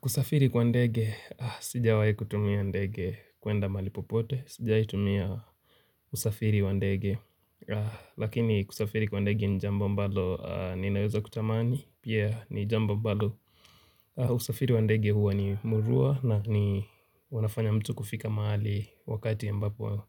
Kusafiri kwa ndege, sijawahi kutumia ndege kuenda mahali popote, sijawahi kutumia usafiri kwa ndege. Lakini kusafiri kwa ndege ni jambo mbalo ninaweza kutamani. Pia ni jambo mbalo usafiri wa ndege huwa ni murua na ni huwa unafanya mtu kufika mahali wakati ambapo